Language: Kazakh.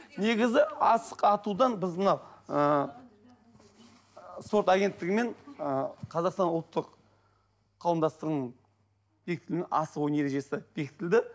негізі асық атудан біз мына ыыы спорт агенттігімен ы казақстан ұлттық қауымдастығының асық ойнау ережесі бекітілді